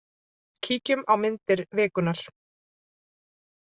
Kíkjum á myndir vikunnar.